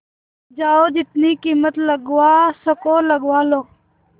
जाओ जितनी कीमत लगवा सको लगवा लो